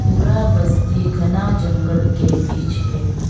पूरा बस्ती घना जंगल के बीच है।